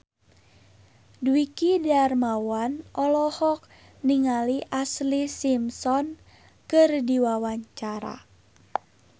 Dwiki Darmawan olohok ningali Ashlee Simpson keur diwawancara